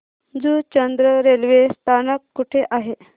Juchandra railway स्थानक कुठे आहे